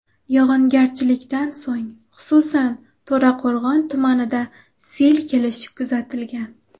Yog‘ingarchilikdan so‘ng, xususan, To‘raqo‘rg‘on tumanida sel kelishi kuzatilgan.